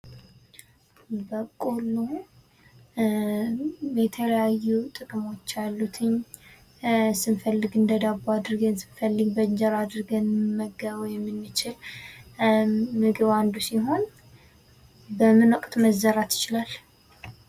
በቆሎ የተለያዩ ጥቅሞች ያሉት ስንፈልግ እንደ ዳቦ አድርገን ስንፈልግ በእንጀራ አድርገን ልንመገበው ምግብ አንዱ ሲሆን በምን ወቅት መዘራት ይችላል?